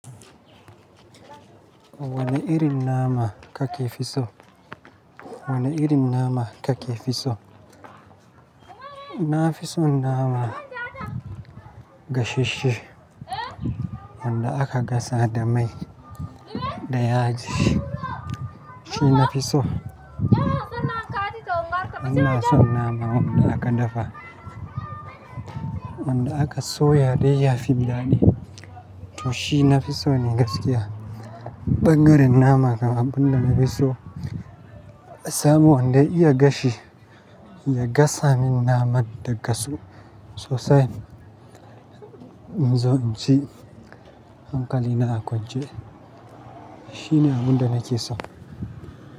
Wane irin nama kake fi so? Wane irin nama kake fi so? Na fi son nama gasasshe wanda aka gasa da mai da yaji. Shi nafi so. Bana son naman wanda aka dafa, wanda aka soya dai ya fi daɗi to shi nafiso ne gaskiya. Ɓangaren nama kam abunda nafiso, samu wanda iya gashi ya gasa min naman ta gasu sosai. In zo in ci hankali na a konce Shi ne abunda nake so.